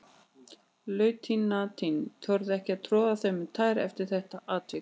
Lautinantinn þorði ekki að troða þeim um tær eftir þetta atvik.